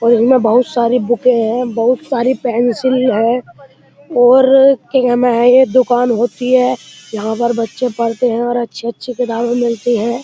और इसमें बोहोत सारे बुके हैं। बोहोत सारी पेन्सिल है और दुकान होती है। यहाँ पर बच्चे पढ़ते हैं और अच्छी-अच्छी किताबे मिलती हैं।